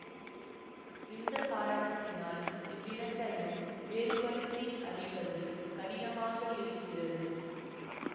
இந்த காரணத்தினால் இவ்விரண்டையும் வேறுபடுத்தி அறிவது கடினமாக இருக்கிறது